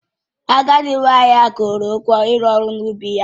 Agadị nwanyị ahụ kwuru ha ugwọ ịru ọrụ n'ubi ya